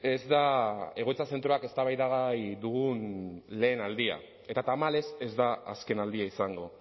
ez da egoitza zentroak eztabaidagai dugun lehen aldia eta tamalez ez da azken aldia izango